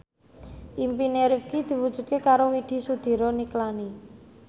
impine Rifqi diwujudke karo Widy Soediro Nichlany